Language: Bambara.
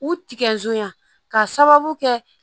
U tigɛ zoyan ka sababu kɛ